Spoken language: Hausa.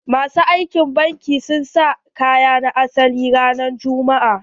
Masu aikin banki sun sa kayan asali ranan juma'a.